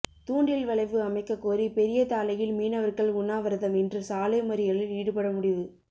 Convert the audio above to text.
தூண்டில் வளைவு அமைக்ககோரி பெரியதாழையில் மீனவர்கள் உண்ணாவிரதம் இன்று சாலை மறியலில் ஈடுபட முடிவு